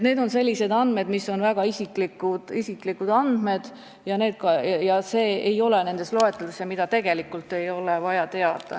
Need on sellised andmed, mis on väga isiklikud, need ei ole nendes loeteludes ja neid ei ole tegelikult teistel vaja teada.